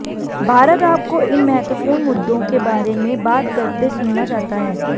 भारत आपको इन महत्वपूर्ण मुद्दों के बारे में बात करते सुनना चाहता है